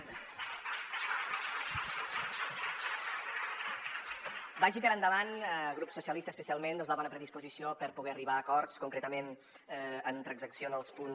vagi per endavant grup socialistes especialment doncs la bona predisposició per a poder arribar a acords concretament en transacció en els punts